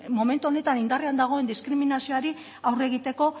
momentu honetan indarrean dagoen diskriminazioari aurre egiteko